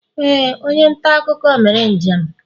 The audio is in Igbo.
ee, onye nta akụkọ mere njem